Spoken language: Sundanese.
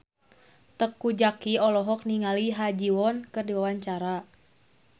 Teuku Zacky olohok ningali Ha Ji Won keur diwawancara